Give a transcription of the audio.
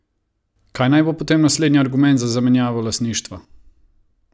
Kaj naj bo potem naslednji argument za zamenjavo lastništva?